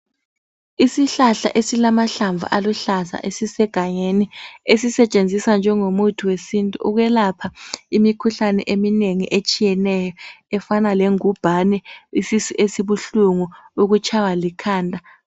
Isihlahla esilamahlamvu aluhlaza esisegangeni, esisetshenziswa njengomuthi wesintu ukwelapha imikhuhlane eminengi etshiyeneyo efana lengubhane, isisu esibuhlungu, ukutshaywa likhanda.